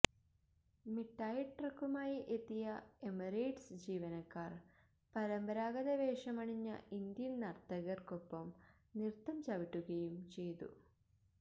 മിഠായി ട്രക്കുമായി എത്തിയ എമിറേറ്റ്സ് ജീവനക്കാര് പരമ്പരാഗത വേഷമണിഞ്ഞ ഇന്ത്യന് നര്ത്തകര്ക്കൊപ്പംനൃത്തം ചവിട്ടുകയും ചെയ്തു